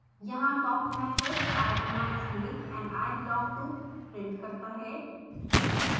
यहाँ talk method i am a snake and i belong to prints करता है